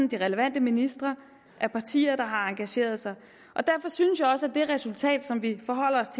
de relevante ministre og partier der har engageret sig derfor synes jeg også at det resultat som vi forholder os